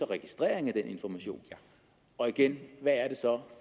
registrering af den information og igen hvad der så